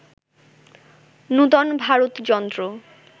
নূতন ভারত যন্ত্র